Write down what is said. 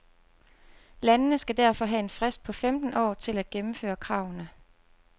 Landene skal derfor have en frist på femten år til at gennemføre kravene.